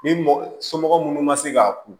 Ni mɔgɔ somɔgɔ minnu ma se k'a kun